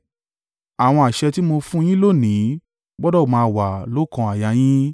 Àwọn àṣẹ tí mo fún un yín lónìí gbọdọ̀ máa wà lóókan àyà yín.